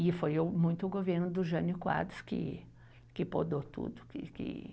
E foi o, muito o governo do Jânio Quadros que que podou tudo, que que